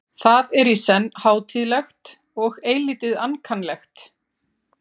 Það er í senn hátíðlegt og eilítið ankannalegt.